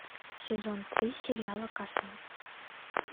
сезон три сериала касл